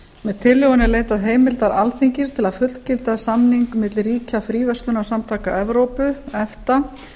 með tillögunni er leitað heimildar alþingis til að fullgilda samning milli ríkja fríverslunarsamtaka evrópu efta